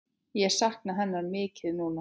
Ég sakna hennar mikið núna.